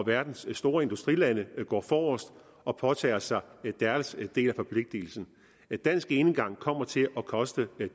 verdens store industrilande går forrest og påtager sig deres del af forpligtelsen dansk enegang kommer til at koste